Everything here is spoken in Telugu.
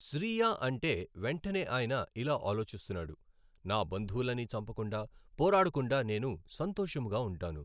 శ్రీయా అంటే వెంటనే ఆయిన ఇలా ఆలోచిస్తున్నాడు, నా బంధువులని చంపకుండా పోరాడకుండా నేను సంతోషముగా ఉంటాను.